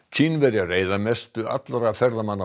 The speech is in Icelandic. Kínverjar eyða mestu allra ferðamanna á